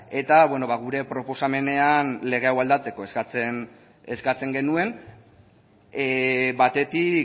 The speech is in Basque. eta beno gure proposamenean lege hau aldatzeko eskatzen genuen batetik